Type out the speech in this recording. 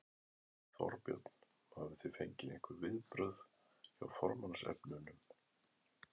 Þorbjörn: Hafið þið fengið einhver viðbrögð hjá formannsefnunum?